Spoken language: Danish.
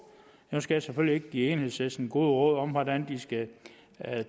nu skal jeg selvfølgelig ikke give enhedslisten gode råd om hvordan de skal